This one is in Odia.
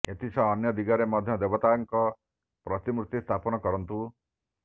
ଏଥିସହ ଅନ୍ୟ ଦିଗରେ ମଧ୍ୟ ଦେବତାଙ୍କ ପ୍ରତିମୂର୍ତ୍ତି ସ୍ଥାପନ କରନ୍ତୁ